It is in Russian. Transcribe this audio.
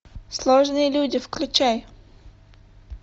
сложные люди включай